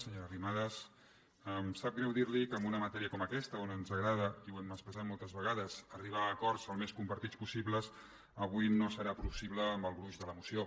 senyora arrimadas em sap greu dir li que en una matèria com aquesta on ens agrada i ho hem expressat moltes vegades arribar a acords al més compartits possibles avui no serà possible en el gruix de la moció